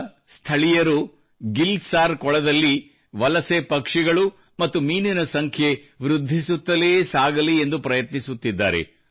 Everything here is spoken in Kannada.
ಈಗ ಸ್ಥಳೀಯರು ಗಿಲ್ ಸಾರ್ ಕೊಳದಲ್ಲಿ ಪ್ರವಾಸಿ ಪಕ್ಷಿಗಳು ಮತ್ತು ಮೀನಿನ ಸಂಖ್ಯೆ ವೃದ್ಧಿಸುತ್ತಲೇ ಸಾಗಲಿ ಎಂದು ಪ್ರಯತ್ನಿಸುತ್ತಿದ್ದಾರೆ